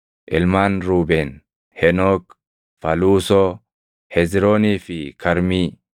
Ilmaan Ruubeen: Henook, Faluusoo, Hezroonii fi Karmii.